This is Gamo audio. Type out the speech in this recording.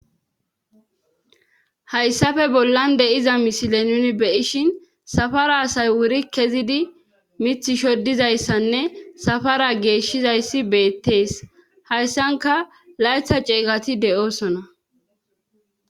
hayssafe bollan de7iza misile nuni beyishin safara asay wuri kezidi mith shoddizayssanne safara geeshshizayssi beettees hayssanka laytha ceegati de7oosona